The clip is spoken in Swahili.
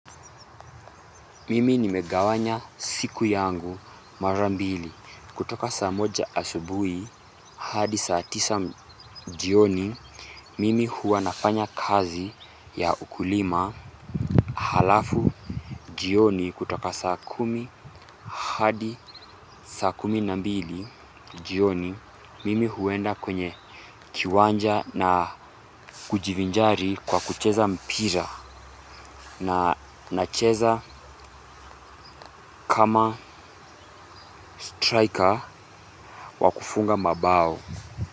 Mimi nimegawanya siku yangu mara mbili kutoka saa moja asubui hadi saa tisa jioni mimi huwa nafanya kazi ya ukulima halafu jioni kutoka saa kumi hadi saa kumi na mbili jioni mimi huenda kwenye kiwanaja na kujivinjari kwa kucheza mpira na nacheza kama striker wa kufunga mabao.